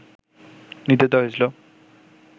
নির্দেশ দেয়া হয়েছিল